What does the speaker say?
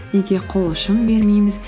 неге қол ұшын бермейміз